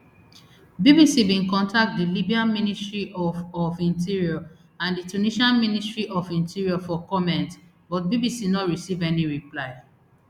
bbc bin contact di libyan ministry of of interior and di tunisian ministry of interior for comment but bbc no receive any reply